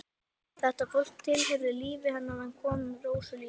Þetta fólk tilheyrði lífi hennar en kom Rósu lítið við.